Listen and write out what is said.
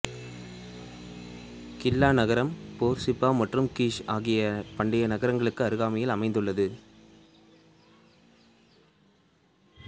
கில்லா நகரம் போர்சிப்பா மற்றும் கிஷ் ஆகிய பண்டைய நகரங்களுக்கு அருகாமையிலும் அமைந்துள்ளது